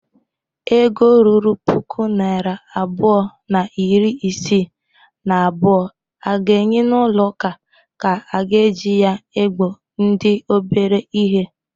Ego ruru puku naịra abụọ na iri isii na abụọ a ga-enye n'ụlọụka ka a ga-eji na-egbo ndị obere ihe.